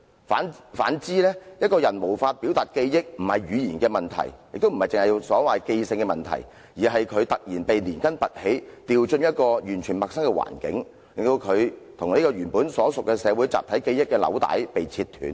反之，一個人無法表達記憶，不是語言的問題，亦不是記性的問題，而是因為他"突然被連根拔起丟進一個完全陌生的環境"，令到他"與原本所屬社會的集體記憶的紐帶被切斷了"。